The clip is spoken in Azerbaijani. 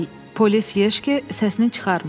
Polis Yejki səsini çıxarmır.